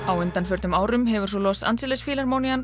á undanförnum árum hefur svo Los Angeles